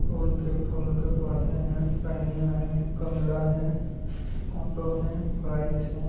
फूल के फूल के पौधे है पंनियाँ हैं गमला है ऑटो है बाइक है।